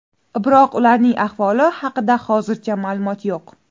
Biroq ularning ahvoli haqida hozircha ma’lumot yo‘q.